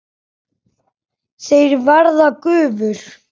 Þeir verða gufur.